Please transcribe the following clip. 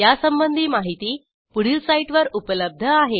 यासंबंधी माहिती पुढील साईटवर उपलब्ध आहे